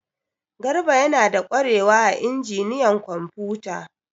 Garba yana da kwarewa a injiniyan kwamfuta.